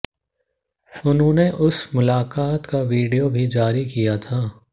उन्होंने उस मुलाकात का विडियो भी जारी किया था